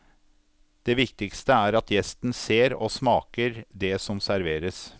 Det viktigste er at gjesten ser og smaker det som serveres.